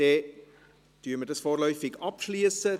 Somit schliessen wir dies vorläufig ab.